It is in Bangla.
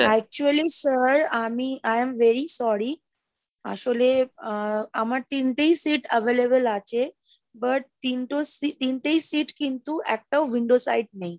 actually sir, আমি i am very sorry, আসলে আহ আমার তিনটেই seat available আছে but তিনটো তিনটেই seat কিন্তু আপনার windows side নেই।